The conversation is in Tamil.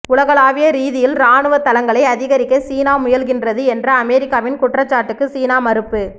உலகளாவிய ரீதியில் இராணுவத் தளங்களை அதிகரிக்க சீனா முயல்கின்றது என்ற அமெரிக்காவின் குற்றச்சாட்டுக்கு சீனா மறுப்பு